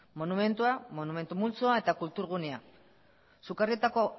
monumentua monumentu multzoa eta kultur gunea sukarrietako